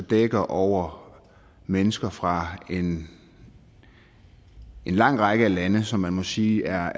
dækker over mennesker fra en lang række lande som man må sige er